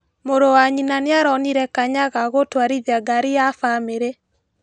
Mũrũ wa nyina nĩaronire kanya ga gũtwarithia ngari ya famĩrĩ.